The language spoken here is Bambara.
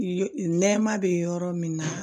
Nɛma bɛ yɔrɔ min na